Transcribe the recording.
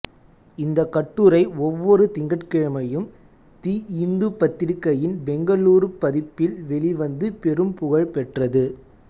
இந்த கட்டுரை ஒவ்வொரு திங்கட்கிழமையும் தி இந்து பத்திரிகையின் பெங்களூர் பதிப்பில் வெளிவந்து பெரும் புகழ் பெற்றது